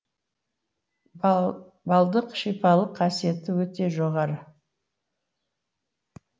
балдық шипалық қасиеті өте жоғары